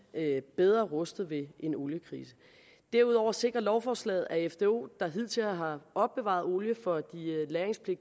bedre rustet ved en oliekrise derudover sikrer lovforslaget at fdo der hidtil har opbevaret olie for